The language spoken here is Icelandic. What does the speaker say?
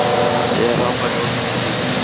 Nú þegar hann væri orðinn greifi.